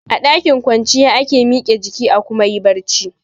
A ɗakin kwanciya ake mike jiki a kuma yi barci